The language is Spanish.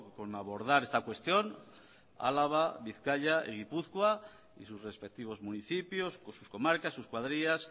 con abordar esta cuestión álava bizkaia y gipuzkoa y sus respectivos municipios con sus comarcas sus cuadrillas